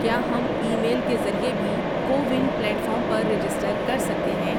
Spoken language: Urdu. کیا ہم ای میل کے ذریعے بھی کو ون پلیٹ فارم پر رجسٹر کر سکتے ہیں؟